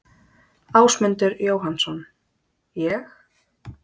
Ásmundur Jóhannsson: Ég?